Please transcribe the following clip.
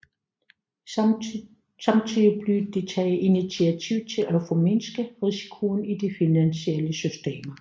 Samtidig blev der taget initiativ til at formindske risikoen i de finansielle systemer